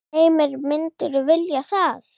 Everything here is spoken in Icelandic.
Heimir: Myndirðu vilja það?